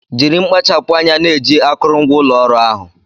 Jiri mkpachapu anya na-eji akụrụngwa ụlọ ọrụ ahụ